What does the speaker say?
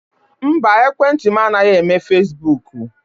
Mba, ekwentị m anaghị eme fesibuuku.